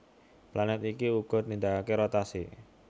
Planèt iki uga nindakaké rotasi